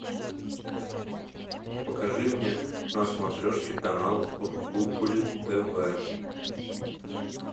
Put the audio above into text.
покажи мне на смотрешке канал рубль тв